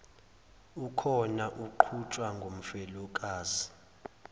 okhona uqhutshwa ngumfelokazi